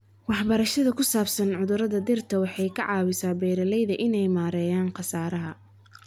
Waxbarashada ku saabsan cudurrada dhirta waxay ka caawisaa beeralayda inay maareeyaan khasaaraha.